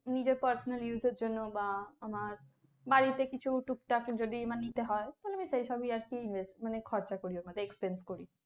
নিজের personally use এর জন্য বা আমার বাড়িতে কিছু টুকটাক যদি মানে নিতে হয় তাহলে আমি সেই সবই আর কি ইয়ে মানে খরচা করি ওখান থেকে expense করি